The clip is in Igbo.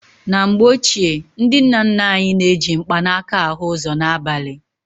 N ' MGBE OCHIE NDI NNA NNA ANYI NA- EJỊ MKPANAKA AHỤ ỤZỌ N' ABALI.